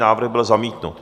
Návrh byl zamítnut.